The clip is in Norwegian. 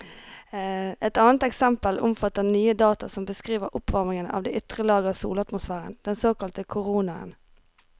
Et annet eksempel omfatter nye data som beskriver oppvarmingen av de ytre lag av solatmosfæren, den såkalte koronaen.